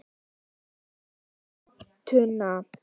Ég leysti gátuna.